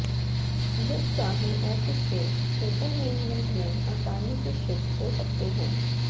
जब चाहे ऑफिस से इंटरनेनमेंट में आसानी से शिफ्ट हो सकते हैं